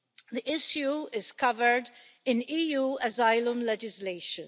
The issue is covered in EU asylum legislation.